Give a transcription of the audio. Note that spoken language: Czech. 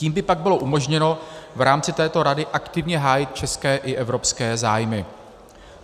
Tím by pak bylo umožněno v rámci této rady aktivně hájit české i evropské zájmy.